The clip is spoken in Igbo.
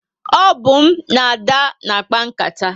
O bu m na Ada na akpa nkata